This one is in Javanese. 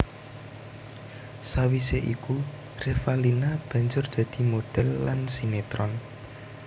Sawisé iku Revalina banjur dadi modhèl lan sinetron